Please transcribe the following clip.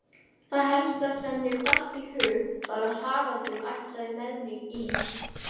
Það helsta sem mér datt í hug var að Haraldur ætlaði með mig í